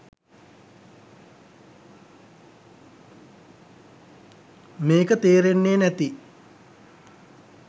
මේක තේරෙන්නේ නැති